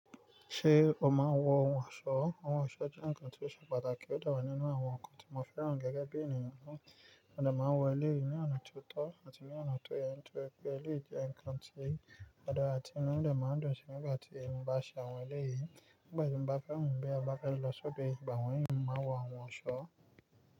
Ṣé o máa ń wọ ohun ọ̀ṣọ́? Ohun ọ̀ṣọ́ jẹ́ ǹnkan tó ṣe pàtàkì ó de wá nínú àwọn ǹnkan tí mo fẹ́ràn gẹ́gẹ́ bí ènìyàn na, mó de máa ń wọ eleyìí ní ọ̀nà ti ó tọ́ àti ní ọ̀nà tó yẹ́ nitóri pé eléyìí jẹ́ ǹnkan tí ó dàra ti inu de máa ń dùn sí nígbà tí mo bá ṣe awọn eléyìí, nígbà tí mo bá kẹ́rù mi bí a mo bá kẹ́rù lọ sódo eeyan ìgbà wọ̀nyií, mo màá n wọ awon ohun ọ̀ṣọ́